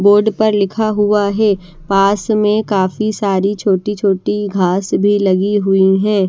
Board पर लिखा हुआ है पास में काफी सारी छोटी छोटी घास भी लगी हुई है।